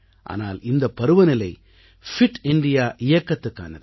ஆனால் இந்தப் பருவநிலை பிட் இந்தியா இயக்கத்துக்கானது